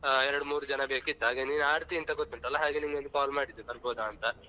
ಹಾ ಎರಡು, ಮೂರು ಜನ ಬೇಕಿತ್ತು ಹಾಗೆ ನೀನ್ ಆಡ್ತಿ ಅಂತ ಗೊತ್ತುಂಟಲ್ಲ ಹಾಗೆ ನಿಂಗೊಂದು call ಮಾಡಿದ್ದು ಬರಬಹುದಾ ಅಂತ.